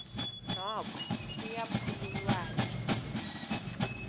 noko kuya phululwana